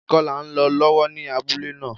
Ìkọlà n lo lọ́wọ́ ní abúlé náà